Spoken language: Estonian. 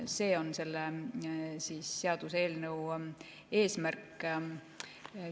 See on selle seaduseelnõu eesmärk.